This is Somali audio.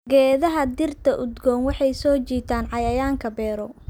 Geedaha dhirta udgoon waxay soo jiitaan cayayaanka beero.